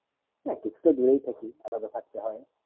না কিছু তো দূরে থাকি আলাদা থাকতে হয়ে